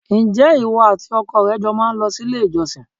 Ǹjẹ́ ìwọ àti ọkọ rẹ jọ má ń lọ sí ilé-ìjọsìn?